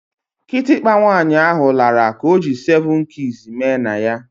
Kitikpa nwaanyị ahụ lara ka ọ ji seven keys mee na ya